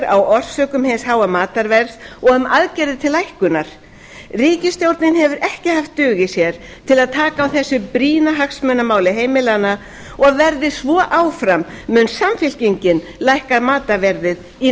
úttektir á orsökum hins háa matarverðs og um aðgerðir til lækkunar ríkisstjórnin hefur ekki haft dug í sér til að taka á þessu brýna hagsmunamáli heimilanna og verði svo áfram mun samfylkingin lækka matarverðið í